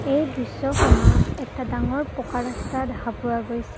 এই দৃশ্যখনত এটা ডাঙৰ পকা ৰাস্তা দেখা পোৱা গৈছে।